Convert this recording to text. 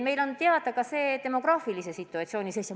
Meile on teada meie demograafiline situatsioon.